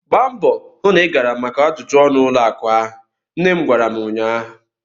Gbaa mbọọ hụ na ị gara maka ajụjụ ọnụ ụlọ akụ ahụ! nne m gwara m ụnyaahụ.